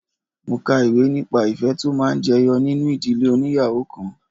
Mo ka ìwé nípa ìfẹ́ tó máa ń jẹyọ nínú ìdílé óníyàwó kan.